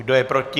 Kdo je proti?